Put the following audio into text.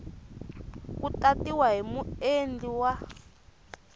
ku tatiwa hi muendli wa